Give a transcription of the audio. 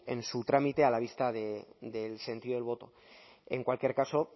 en su trámite a la vista del sentido del voto en cualquier caso